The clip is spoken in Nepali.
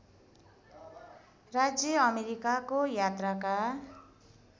राज्य अमेरिकाको यात्राका